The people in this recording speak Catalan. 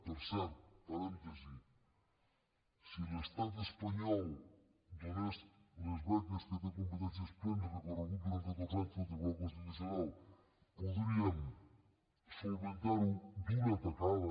per cert parèntesi si l’estat espanyol donés les beques que en té competències plenes recorregut durant catorze anys pel tribunal constitucional podríem solucionar ho d’una tacada